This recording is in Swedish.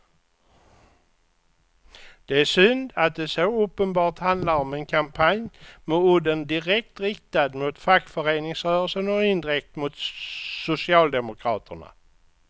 Det är synd att det så uppenbart handlar om en kampanj med udden direkt riktad mot fackföreningsrörelsen och indirekt mot socialdemokraterna.